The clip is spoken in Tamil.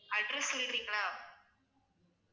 address சொல்விங்களா